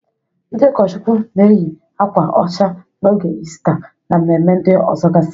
Ndị ụkọchụkwụ na-eyị akwa ọcha n'oge Istaa, na mmemme ndị ọzọgasị.